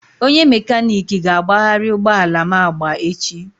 Onye mekaniki ga-agbagharị ụgbọ ala m agba echi